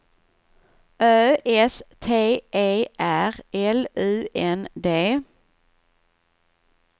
Ö S T E R L U N D